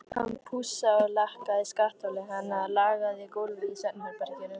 Hann pússaði og lakkaði skattholið hennar, lagaði gólfið í svefnherberginu.